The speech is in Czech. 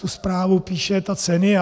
Tu zprávu píše ta Cenia.